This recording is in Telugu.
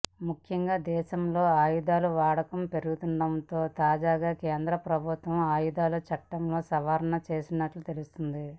ముఖ్యంగా దేశంలో ఆయుధాల వాడకం పెరుగుతుండటంతో తాజాగా కేంద్ర ప్రభుత్వం ఆయుధాల చట్టంలో సవరణలు చేసినట్లు తెలుస్తుంది